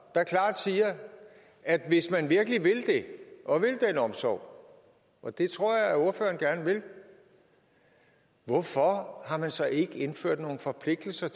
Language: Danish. der klart siger at hvis man virkelig vil det og vil den omsorg og det tror jeg ordføreren gerne vil hvorfor har man så ikke indført nogle forpligtelser